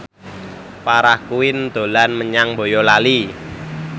Farah Quinn dolan menyang Boyolali